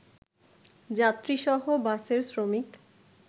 যাত্রীসহ বাসের শ্রমিক